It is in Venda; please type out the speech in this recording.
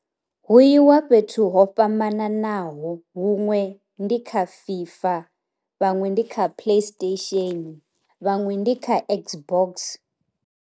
Hu yiwa fhethu ho fhambananaho huṅwe ndi kha fifa, vhaṅwe ndi kha play station, vhaṅwe ndi kha x box.